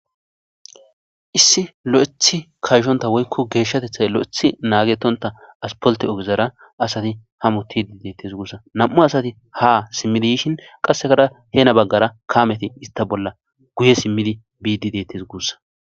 Issi lo'ethi kayshonta woyko geshatethay lo'ethi nagetonta asfalte ogezara asati hamutidi detese gussa nam'u asati ha simidi yishin qasekkara hena bagara Kameti ista bolla guye simidi bidi detese gussa